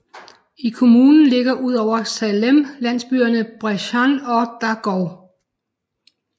I kommunen ligger ud over Salem landsbyerne Bresahn og Dargow